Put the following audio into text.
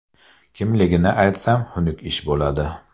Kimligini aytsam xunuk ish bo‘ladi.